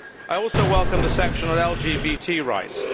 I also welcome the section on LGBT rights.